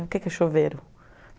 O que que é chuveiro?